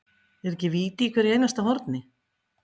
Er ekki víti í hverju einasta horni?